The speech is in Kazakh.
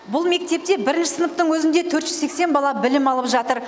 бұл мектепте бірінші сыныптың өзінде төрт жүз сексен бала білім алып жатыр